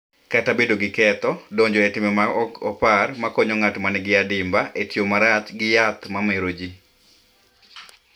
Kata bedo gi ketho, donjo e timbe ma ok opar ma konyo ng’at ma nigi adimba e tiyo marach gi yath ma mero ji.